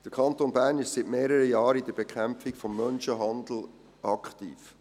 Der Kanton Bern ist seit mehreren Jahren in der Bekämpfung des Menschenhandels aktiv.